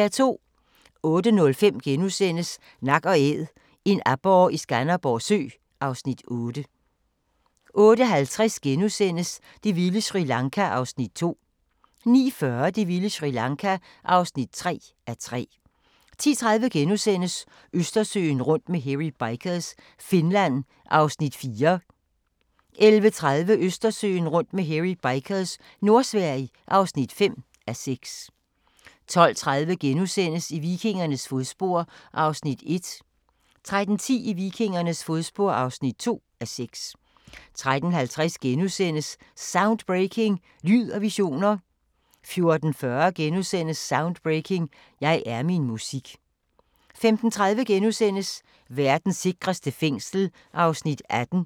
08:05: Nak & Æd – en aborre i Skanderborg Sø (Afs. 8)* 08:50: Det vilde Sri Lanka (2:3)* 09:40: Det vilde Sri Lanka (3:3) 10:30: Østersøen rundt med Hairy Bikers – Finland (4:6)* 11:30: Østersøen rundt med Hairy Bikers – Nordsverige (5:6) 12:30: I vikingernes fodspor (1:6)* 13:10: I vikingernes fodspor (2:6) 13:50: Soundbreaking – Lyd og visioner * 14:40: Soundbreaking – Jeg er min musik * 15:30: Verdens sikreste fængsel (18:21)*